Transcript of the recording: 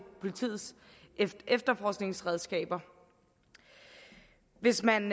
politiets efterforskningsredskaber hvis man